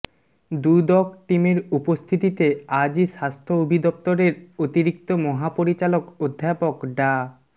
দুদক টিমের উপস্থিতিতে আজই স্বাস্থ্য অধিদপ্তরের অতিরিক্ত মহাপরিচালক অধ্যাপক ডা